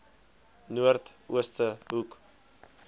noord ooste hoek